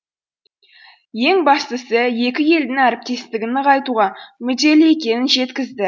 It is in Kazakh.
ең бастысы екі елдің әріптестігін нығайтуға мүдделі екенін жеткізді